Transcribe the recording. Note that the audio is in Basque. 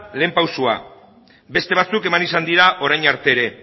lehen pausua beste batzuk eman izan dira orain arte ere